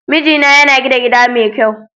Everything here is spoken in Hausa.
Mijina yana gina gida mai kyau.